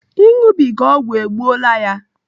Ịṅụbiga ọgwụ egbuola ya.